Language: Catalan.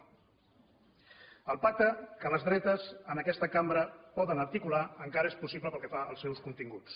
el pacte que les dretes en aquesta cambra poden articular encara és possible pel que fa als seus continguts